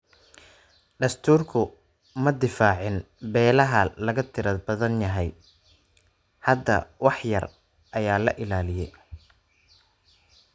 Dastuurku ma difaacin beelaha laga tirada badan yahay. Hadda wax yar ayaa la ilaaliyaa.